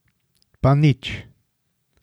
Pa nič!